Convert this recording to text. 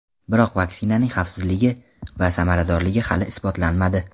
Biroq vaksinaning xavfsizligi va samaradorligi hali isbotlanmadi.